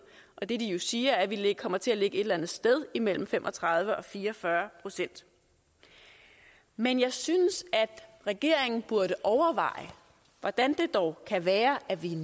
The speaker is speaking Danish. og det de jo siger er at vi kommer til at ligge et eller andet sted imellem fem og tredive og fire og fyrre procent men jeg synes at regeringen burde overveje hvordan det dog kan være at vi er